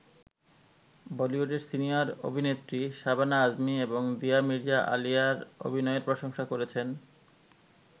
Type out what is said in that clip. বলিউডের সিনিয়র অভিনেত্রী শাবানা আজমী এবং দিয়া মির্জা আলিয়ার অভিনয়ের প্রশংসা করেছেন।